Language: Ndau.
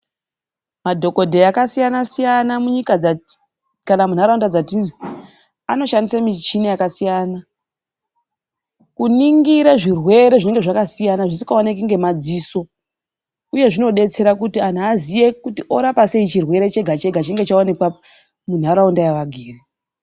Madhokoteya akasiyana siyana munyika dzatiri kana mundaraunda dzatiri anoshandisa michina yakasiyana kuningira zvirwere zvinenge zvakasiyana zvisingaoneke nemadziso uye zvinodetsera kuti anhu aziye orapa sei chirwere chega chega chinenge chaonekwa mundaraunda yavagere.